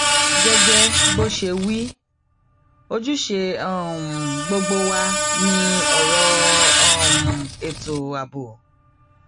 gẹgẹ bó ṣe wí ojúṣe um gbogbo wa ni ọrọ um ètò ààbò